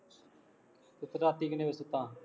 ਤੂੰ ਰਾਤੀ ਕਿੰਨੇ ਵਜੇ ਸੁੱਤਾ,